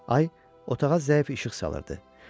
Ay otağa zəif işıq salırdı.